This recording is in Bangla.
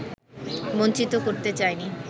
বঞ্চিত করতে চাইনি